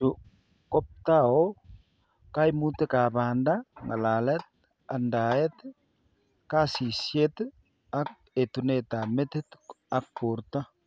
Chu kobtao kaimutikab banda, ng'alalet, andaet, kasishet ak etunetab metit ak borto.